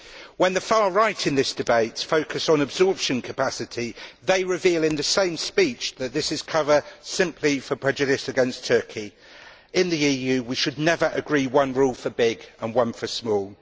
When the far right in this debate focuses on absorption capacity they reveal in the same speech that this is cover for a prejudice against Turkey. In the EU, we should never agree one rule for big and one for small.